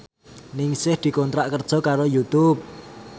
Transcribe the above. Ningsih dikontrak kerja karo Youtube